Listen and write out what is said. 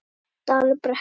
Dalbrekku